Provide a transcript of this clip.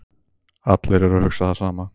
Allir eru að hugsa það sama